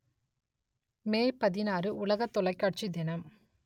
மே பதினாறு உலக தொலைக்காட்சி தினம்